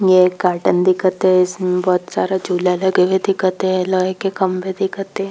ये एक गार्डन दिखत है इसमें बोहत सारा झूला लगे हुए दिखत है लोहे के खम्भे दिखत है।